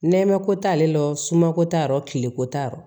Nɛmɛ ko t'ale la o suma ko t'a yɔrɔ kileko t'a yɔrɔ